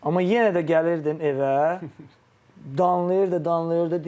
Amma yenə də gəlirdim evə, danlayırdı, danlayırdı.